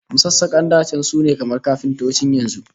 Masassakan da can sune kamar kafintocin yanzu